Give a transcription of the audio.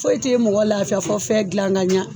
Foyi tɛ mɔgɔ laafiya fɔ fɛn gilan kaɲa.